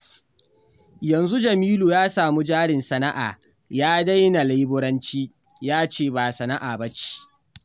Yanzu Jamilu ya samu jarin sana'a ya daina leburanci, ya ce ba sana'a ba ce